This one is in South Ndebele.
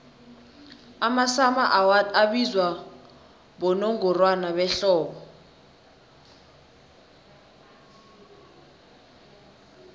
amasummer awards abizwa bonongorwana behlobo